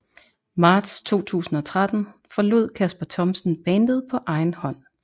Marts 2013 forlod Kasper Thomsen bandet på egen hånd